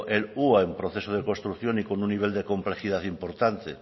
el hua en proceso de construcción y con un nivel de complejidad importante